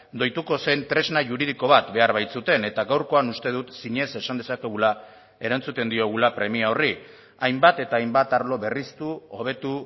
doituko zen tresna juridiko bat behar baitzuten eta gaurkoan uste dut zinez esan dezakegula erantzuten diogula premia horri hainbat eta hainbat arlo berriztu hobetu